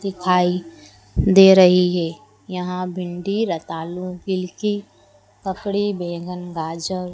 दिखाई दे रही है यहां भिंडी रत आलू गिलकी ककड़ी बैंगन गाजर--